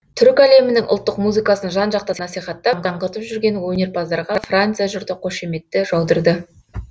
түрік әлемінің ұлттық музыкасын жан жақты насихаттап жаңғыртып жүрген өнерпаздарға франция жұрты қошеметті жаудырды